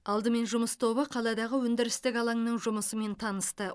алдымен жұмыс тобы қаладағы өндірістік алаңның жұмысымен танысты